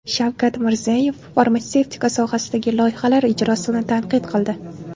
Shavkat Mirziyoyev farmatsevtika sohasidagi loyihalar ijrosini tanqid qildi.